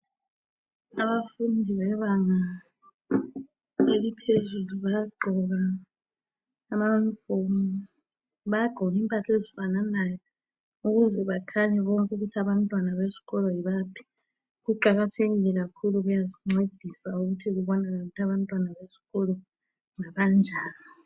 Abafundi bebanga eliphezulu bayagqoka amayunifomu. Bayagqoka impahla ezifananayo ukuze bakhanye bonke ukuthi abantwana besikolo yibaphi. Kuqakathekile kakhulu kuyasincedisa ukuthi kubonakale ukuthi abantwana besikolo ngabanjani.